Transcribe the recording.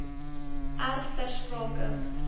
erf ter sprake